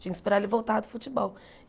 Tinha que esperar ele voltar do futebol.